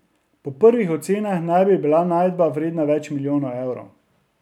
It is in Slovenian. Po prvih ocenah naj bi bila najdba vredna več milijonov evrov.